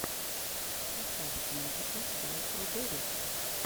поставь музыка дайодорис